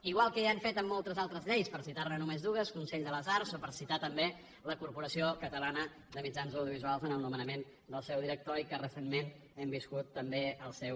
igual que ja hem fet amb moltes altres lleis per citar ne només dues consell de les arts o per citar també la corporació catalana de mitjans audiovisuals en el nomenament del seu director i que recentment hem viscut també el seu